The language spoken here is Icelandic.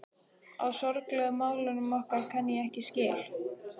Á sorglegu málunum okkar kann ég ekki skil.